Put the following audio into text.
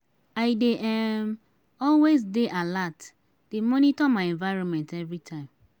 i dey um always dey alert dey monitor my environment everytime.